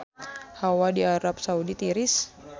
Hawa di Arab Saudi tiris